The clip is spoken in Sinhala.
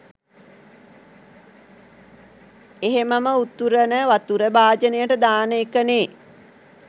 එහෙමම උතුරන වතුර භාජනෙට දාන එකනේ.